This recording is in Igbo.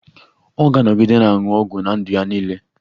Ọ ga-anọgide na-aṅụ ọgwụ ná ndụ ya niile